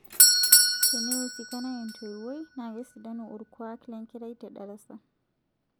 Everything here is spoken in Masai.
Teneiusikana entoiwoi na kesidanu orkuak lenkerai te darasa